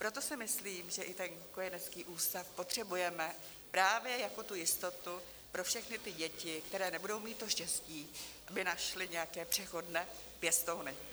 Proto si myslím, že i ten kojenecký ústav potřebujeme právě jako tu jistotu pro všechny ty děti, které nebudou mít to štěstí, aby našly nějaké přechodné pěstouny.